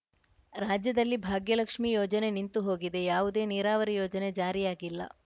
ರಾಜ್ಯದಲ್ಲಿ ಭಾಗ್ಯಲಕ್ಷ್ಮಿ ಯೋಜನೆ ನಿಂತು ಹೋಗಿದೆ ಯಾವುದೇ ನೀರಾವರಿ ಯೋಜನೆ ಜಾರಿಯಾಗಿಲ್ಲ